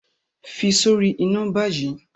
fi sori ina bayi!